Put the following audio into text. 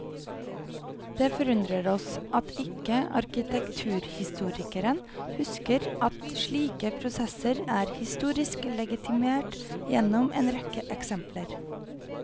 Det forundrer oss at ikke arkitekturhistorikeren husker at slike prosesser er historisk legitimert gjennom en rekke eksempler.